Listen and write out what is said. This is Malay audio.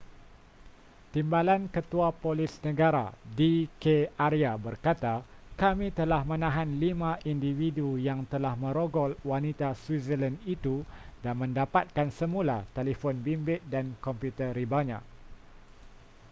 timbalan ketua polis negara d k arya berkata kami telah menahan lima individu yang telah merogol wanita switzerland itu dan mendapatkan semula telefon bimbit dan komputer ribanya